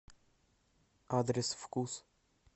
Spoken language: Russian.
адрес вкус